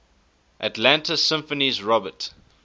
atlanta symphony's robert